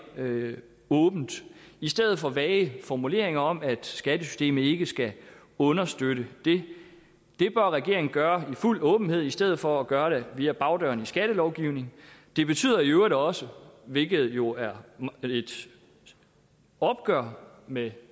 det åbent i stedet for med vage formuleringer om at skattesystemet ikke skal understøtte det det bør regeringen gøre i fuld åbenhed i stedet for at gøre det via bagdøren i skattelovgivningen det betyder i øvrigt også hvilket jo er et opgør med